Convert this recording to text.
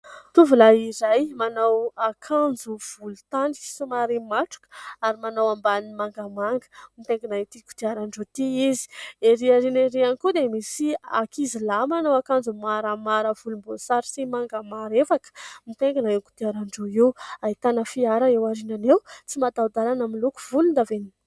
Tovolahy iray manao akanjo volon-tany somary matroka ary manao ambany mangamanga mitaingina ity kotiaran-droa ity izy. Ery arina ery ihany koa dia misy ankizy lahy manao akanjo maramara volom-boasary sy manga marevaka mitaingina io kodiaran-droa io. Ahitana fiara eo arinana eo, tsy matao-dalana amin'ny loko volon-davenona.